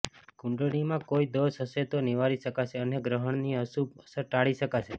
કુંડળીમાં કોઈ દોષ હશે તો નિવારી શકાશે અને ગ્રહણની અશુભ અસર ટાળી શકાશે